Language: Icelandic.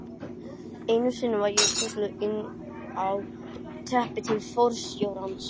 Einu sinni var ég kölluð inn á teppi til forstjórans.